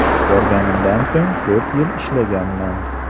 Borganimdan so‘ng to‘rt yil ishlaganman.